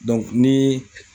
ni